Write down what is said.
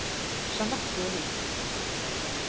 Jeanette Høvik